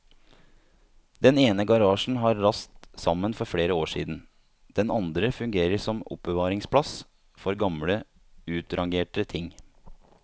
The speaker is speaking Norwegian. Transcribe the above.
Den ene garasjen har rast sammen for flere år siden, den andre fungerer som oppbevaringsplass for gamle utrangerte ting.